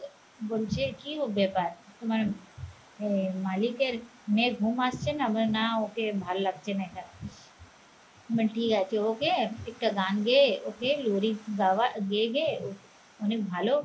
বলছে কি ও ব্যাপার তোমার এ মালিকের মেয়ে ঘুম আসছে না বলে না ওকে ভাল লাগছে না মানে ঠিক আছে ওকে একটা গান গায়ে ওকে লরির বাবা দেবে ওকে অনেক ভালো